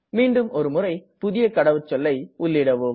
மீண்டும் ஒரு முறை புதிய கடவுச்சொல்லை உள்ளீடவும்